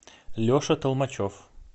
леша толмачев